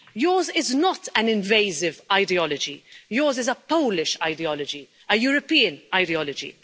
Yours is not an invasive ideology, yours is a Polish ideology, a European ideology.